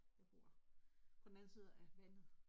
Jeg bor på den anden side af vandet